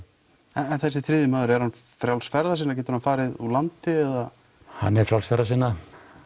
en þessi þriðji maður er hann frjáls ferða sinna getur hann farið úr landi eða hann er frjáls ferða sinna